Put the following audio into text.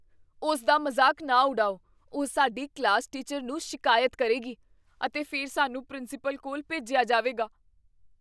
ਉਸ ਦਾ ਮਜ਼ਾਕ ਨਾ ਉਡਾਓ। ਉਹ ਸਾਡੀ ਕਲਾਸ ਟੀਚਰ ਨੂੰ ਸ਼ਿਕਾਇਤ ਕਰੇਗੀ ਅਤੇ ਫਿਰ ਸਾਨੂੰ ਪ੍ਰਿੰਸੀਪਲ ਕੋਲ ਭੇਜਿਆ ਜਾਵੇਗਾ।